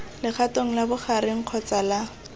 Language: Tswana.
legatong la bogareng kgotsa la